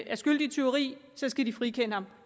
er skyldig i tyveri så skal de frikende ham